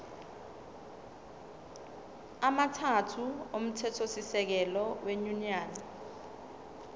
amathathu omthethosisekelo wenyunyane